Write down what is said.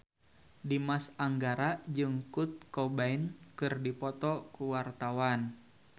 Dimas Anggara jeung Kurt Cobain keur dipoto ku wartawan